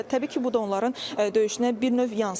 Və təbii ki, bu da onların döyüşünə bir növ yansıyır.